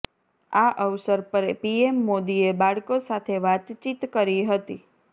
આ અવસર પર પીએમ મોદીએ બાળકો સાથે વાતચીત કરી હતી